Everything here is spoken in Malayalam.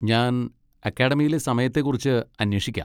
ഞാൻ അക്കാഡമിയിലെ സമയത്തെ കുറിച്ച് അന്വേഷിക്കാം.